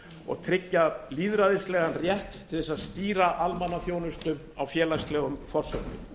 og tryggja lýðræðislegan rétt til að stýra almannaþjónustu á félagslegum forsendum